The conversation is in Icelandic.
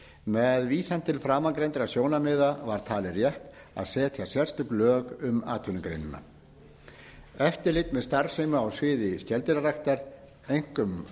með vísan til framangreindra sjónarmiða var talið rétt að setja sérstök lög um atvinnugreinina eftirlit með starfsemi á sviði skeldýraræktar einkum